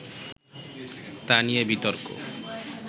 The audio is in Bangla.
তা নিয়ে বিতর্ক